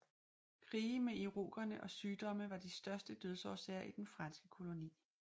Krige med irokerne og sygdomme var de største dødsårsager i den franske koloni